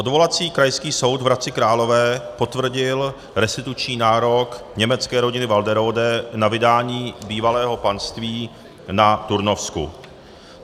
Odvolací Krajský soud v Hradci Králové potvrdil restituční nárok německé rodiny Walderode na vydání bývalého panství na Turnovsku.